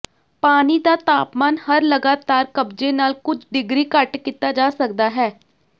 ਪਾਣੀ ਦਾ ਤਾਪਮਾਨ ਹਰ ਲਗਾਤਾਰ ਕਬਜ਼ੇ ਨਾਲ ਕੁਝ ਡਿਗਰੀ ਘੱਟ ਕੀਤਾ ਜਾ ਸਕਦਾ ਹੈ